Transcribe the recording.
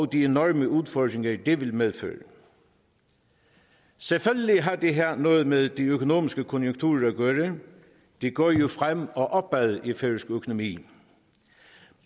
de enorme udfordringer det vil medføre selvfølgelig har det her noget med de økonomiske konjunkturer at gøre det går jo fremad og opad i færøsk økonomi